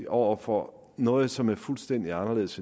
over for noget som er fuldstændig anderledes